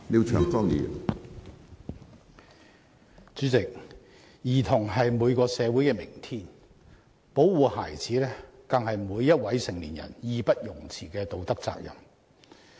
主席，兒童是每個社會的明天，保護孩子更是每一位成年人義不容辭的道德責任。